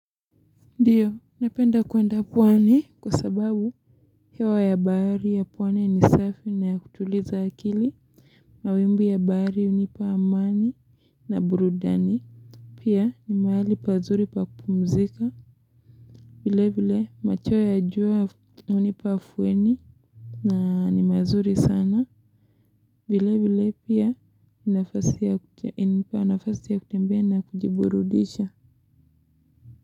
Ndiyo, napenda kuenda pwani kwa sababu hewa ya bahari ya puwayni ni safi na ya kutuliza akili Mawimbi ya bahari unipa amani na burudani Pia ni mahali pazuri pakupumzika vile vile macho ya juwa unipa afueni na ni mazuri sana vile vile pia unafasi ya kutembea na kujiburudisha.